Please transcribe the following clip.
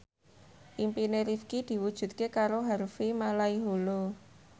impine Rifqi diwujudke karo Harvey Malaiholo